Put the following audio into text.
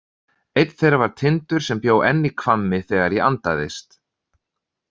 Einn þeirra var Tindur sem bjó enn í Hvammi þegar ég andaðist.